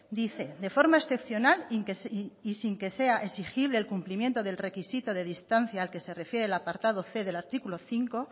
dice de forma excepcional y sin que sea exigible el cumplimiento del requisito de distancia al que se refiere el apartado c del artículo cinco